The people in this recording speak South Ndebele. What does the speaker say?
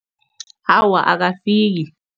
Awa, akafiki.